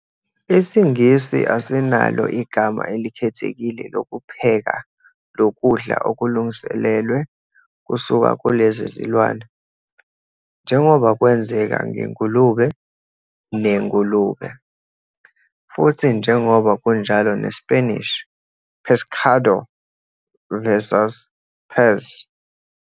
IsiNgisi asinalo igama elikhethekile lokupheka lokudla okulungiselelwe kusuka kulezi zilwane, njengoba kwenzeka "ngengulube" ne- "ngulube", futhi njengoba kunjalo ne-Spanish "pescado" vs. "pez.